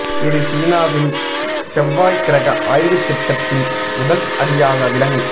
இது சீனாவின் செவ்வாய் கிரக ஆய்வு திட்டத்தின் முதல் அடியாக விளங்